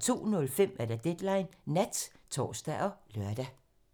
02:05: Deadline Nat (tor og lør)